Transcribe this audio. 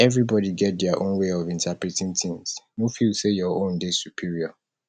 everybody get their own way of interpreting things no feel sey your own dey superior